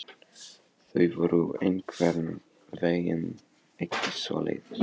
Þau voru einhvern veginn ekki svoleiðis.